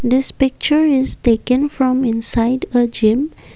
this picture is taken from inside a gym.